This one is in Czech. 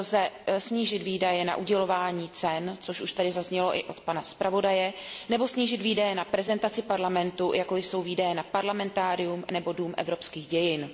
lze snížit výdaje na udělování cen, což už tady zaznělo i od pana zpravodaje, nebo snížit výdaje na prezentaci Parlamentu, jako jsou výdaje na Parlamentárium nebo Dům evropských dějin.